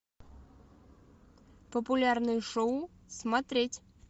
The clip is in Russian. популярные шоу смотреть